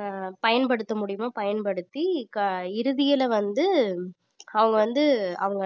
ஆஹ் பயன்படுத்த முடியுமோ பயன்படுத்தி க~ இறுதியில வந்து அவங்க வந்து அவங்க